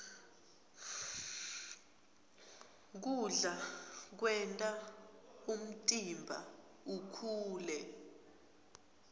kudla kwenta umtimba ukhule